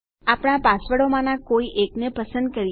આપણા પાસવર્ડોમાનાં કોઈ એકને પસંદ કરીએ